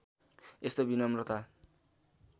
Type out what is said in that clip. यस्तो विनम्रता